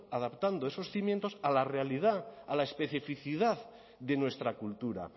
adaptando esos cimientos a la realidad a la especificidad de nuestra cultura